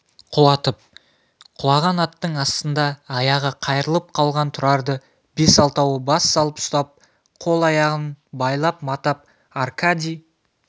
құлатып құлаған аттың астында аяғы қайырылып қалған тұрарды бес-алтауы бас салып ұстап қол-аяғын байлап-матап аркадий